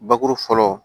Bakuru fɔlɔ